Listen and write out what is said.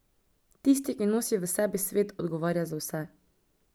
Tisti, ki nosi v sebi svet, odgovarja za vse.